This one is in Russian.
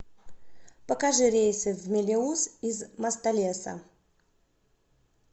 покажи рейсы в мелеуз из мостолеса